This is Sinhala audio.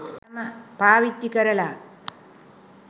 පාවිච්චි කරලා